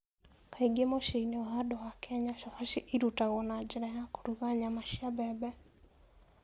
Kaingĩ mũciĩ-inĩ wa andũ a Kenya, Chapati ĩrutagwo na njĩra ya kũruga nyama cia mbembe.